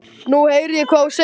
Nú heyri ég hvað þú segir.